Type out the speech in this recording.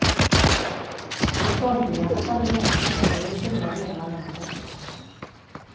På stormbyarna följde regn och snö i stora delar av landet.